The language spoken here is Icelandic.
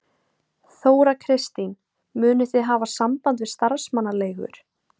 Þóra Kristín: Munu þið hafa samband við starfsmannaleigur?